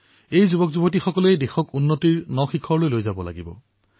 এই যুৱচামক দেশক নতুন উচ্চতালৈ লৈ যাব লাগিব